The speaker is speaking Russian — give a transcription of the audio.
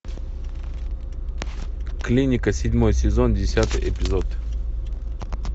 клиника седьмой сезон десятый эпизод